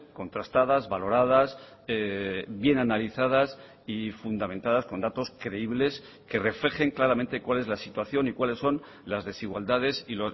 contrastadas valoradas bien analizadas y fundamentadas con datos creíbles que reflejen claramente cuál es la situación y cuáles son las desigualdades y